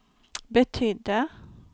betydde